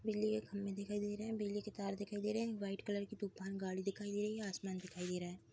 बिजली के खंभे दिखाई दे रहे हैं बिजली के तार दिखाई दे रहे हैं व्हाइट कलर के तूफान गाड़ी दिखाई दे रही है आसमान दिखाई दे रहा है।